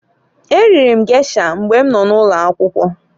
E riri m gesha mgbe m nọ n'ụlọakwụkwọ.